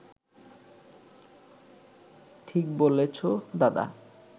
ঠিক বলেছ দাদা